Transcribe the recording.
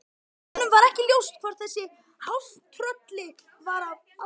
Honum var ekki ljóst hvort þessu hálftrölli var alvara.